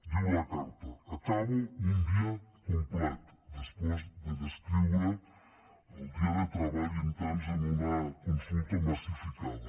diu la carta acabo un dia complet després de descriure el dia de treball intens en una consulta massificada